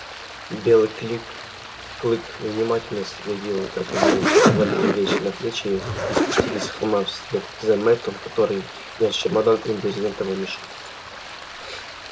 белый клик клык внимательно следил как они взвалили вещи на плечи и спустились с холма вслед за мэттом который нёс чемодан и брезентовый мешок